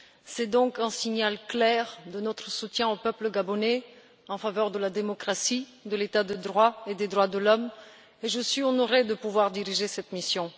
C'est donc un signal clair de notre soutien au peuple gabonais en faveur de la démocratie, de l'état de droit et des droits de l'homme, et je suis honorée de pouvoir diriger cette mission.